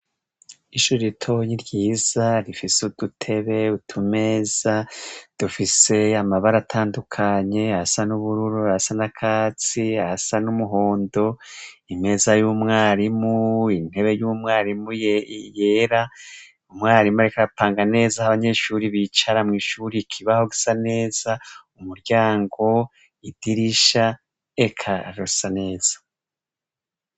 Ishure ritoyi ryiza rifise udutebe; utumeza dufise amabara atandukanye: ayasa n'ubururu, ayasa n'akatsi, ayasa n'umuhondo. Imeza y'umwarimu, intebe y'umwarimu yera. Umwarimu ariko arapanga neza aho abanyeshure bicara mw'ishure. Ikibaho gisa neza, umuryango idirisha; eka rusa, neza.